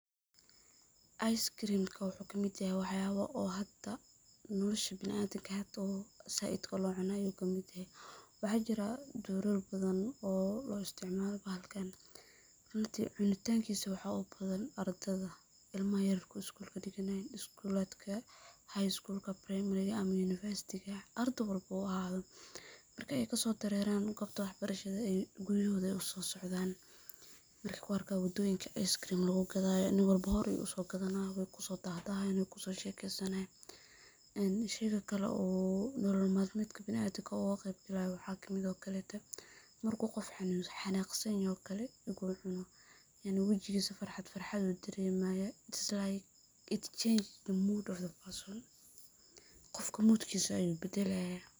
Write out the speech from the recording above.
ice cream ka waxuu kamid yahay waxyaabo oo hada nolosha bini adamka oo hada zaaid loo cuno kamid yahay ,waxaa jiraa doorar badan oo loo isticmaalo bahalkaan ,runtii cunitaan kiisa waxaa ubadan ardada ,ilmaha yaryarka oo iskulaadka dhiganayaan, iskulaadka high school ka primary ga ,university ga ardey walbo ha ahaado , marka ay kasoo dareeraan goobta wax barashada ay guriyahooda ay usoo socdaan markeey ku arkaan wadooyinka ice cream ka lagu gadaayo qof walbo hore buu usoo gadanaa ,wuu kusoo dahdahaa ,weyna kusoo shekeysanayaan .Sidoo kale oo nolol maalmeedka biniadamka uga qeeb galaayo waxaa kamid eh oo kale te markuu qof xanaaq san yahay oo kale iguu cuno inuu wajigiisa farxad farxad dareemaya it is like it change the mood of the person qofka mood kiisa ayuu badalayaa.